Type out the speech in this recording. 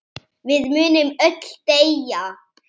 Við munum öll deyja.